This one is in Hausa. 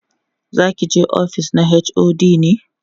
zakije ofis na HOD ne?